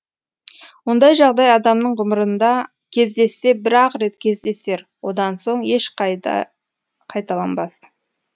ондай жағдай адамның ғұмырында кездессе бір ақ рет кездесер одан соң ешқашанда қайталанбас